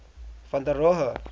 van der rohe